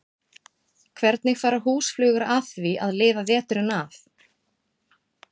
Hvernig fara húsflugur að því að lifa veturinn af?